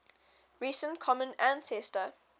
recent common ancestor